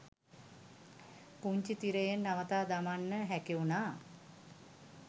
පුංචි තිරයෙන් නවතා දමන්න හැකිවුණා.